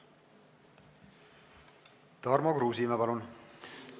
Tarmo Kruusimäe, palun!